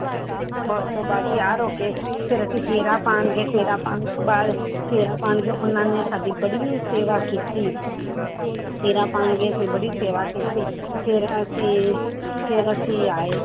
ਉਸ ਤੋਂ ਬਾਅਦ ਤਿਆਰ ਹੋ ਕੇ ਫਿਰ ਅਸੀਂ ਫੇਰਾ ਪਾਉਣ ਗਏ ਫੇਰਾ ਪਾਉਣ ਫੇਰਾ ਪਾਉਣ ਗਏ ਉਹਨਾਂ ਨੇ ਸਾਡੀ ਬੜੀ ਸੇਵਾ ਕੀਤੀ ਫੇਰਾ ਪਾਉਣ ਗਏ ਫਿਰ ਬੜੀ ਸੇਵਾ ਕੀਤੀ ਫਿਰ ਅਸੀਂ ਫਿਰ ਅਸੀਂ ਆਏ